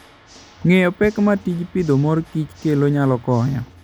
Ng'eyo pek ma tij pidho mor kich kelo nyalo konyo.